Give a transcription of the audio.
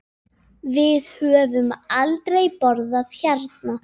Við höfum aldrei borðað hérna.